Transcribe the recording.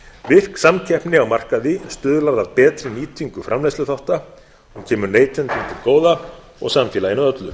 virk samkeppni á markaði stuðlar að betri nýtingu framleiðsluþátta kemur neytendum til góða og samfélaginu öllu